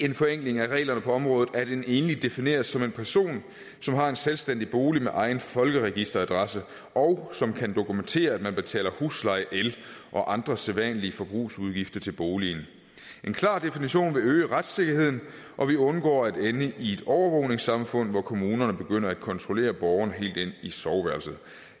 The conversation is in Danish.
en forenkling af reglerne på området at en enlig defineres som en person som har en selvstændig bolig med egen folkeregisteradresse og som kan dokumentere at man betaler husleje el og andre sædvanlige forbrugsudgifter til boligen en klar definition vil øge retssikkerheden og vi undgår at ende i et overvågningssamfund hvor kommunerne begynder at kontrollere borgerne helt ind i soveværelset